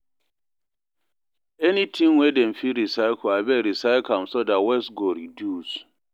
anytin wey dem fit recycle abeg recycle am so dat waste go reduce